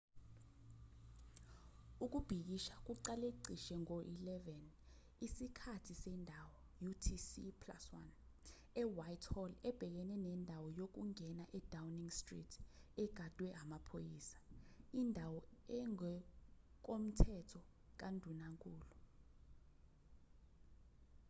ukubhikisha kulaqe cishe ngo-11:00 isikhathi sendawo utc+1 ewhitehall ebhekene nendawo yokungena edowning street egadwe amaphoyisa indawo engokomthetho kandunankulu